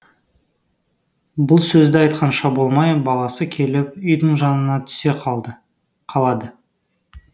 бұл сөзді айтқанша болмай баласы келіп үйдің жанына түсе қалады